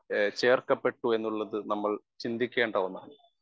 Speaker 1 ഏഹ് ചേർക്കപ്പെട്ടുവെന്നുള്ളത് നമ്മൾ ചിന്തിക്കേണ്ട ഒന്നാണ്.